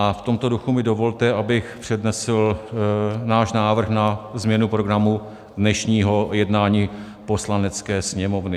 A v tomto duchu mi dovolte, abych přednesl náš návrh na změnu programu dnešního jednání Poslanecké sněmovny.